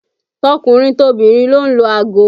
Tọkùnrin tobìnrin ló ń lo ago